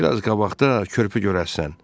Bir az qabaqda körpü görərsən.